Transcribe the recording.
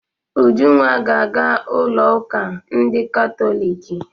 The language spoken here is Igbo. Ujunwa ga aga ụlọ uka ndị katoliki.